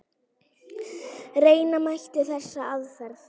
Reyna mætti þessa aðferð.